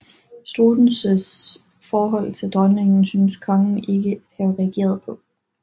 Struensees forhold til dronningen synes kongen ikke at have reageret på